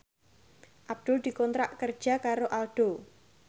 Abdul dikontrak kerja karo Aldo